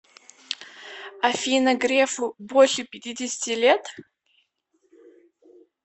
афина грефу больше пятидесяти лет